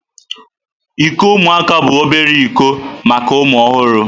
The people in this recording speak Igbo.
Iko ụmụaka bụ obere iko maka ụmụ ọhụrụ.